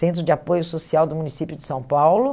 Centro de Apoio Social do município de São Paulo.